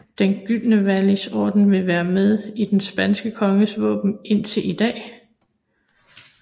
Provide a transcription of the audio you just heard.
Den gyldne Vlies Orden vil være med i den spanske konges våben indtil i dag